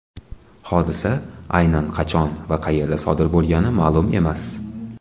Hodisa aynan qachon va qayerda sodir bo‘lgani ma’lum emas.